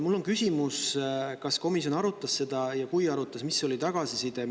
Mul on küsimus, kas komisjon arutas seda ja kui arutas, siis mis oli tagasiside.